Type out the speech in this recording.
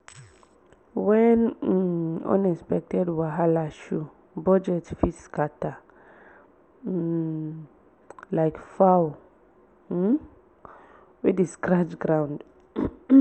wen um unexpected wahala show budget fit scatter um like fowl um wey dey scratch ground